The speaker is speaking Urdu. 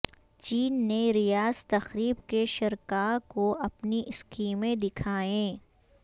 چین نے ریاض تقریب کے شرکاءکو اپنی اسکیمیں دکھائیں